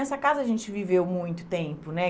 Essa casa a gente viveu muito tempo, né?